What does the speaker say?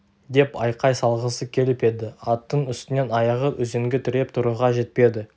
деп айқай салғысы келіп еді аттың үстінен аяғы үзеңгі тіреп тұруға жетпеді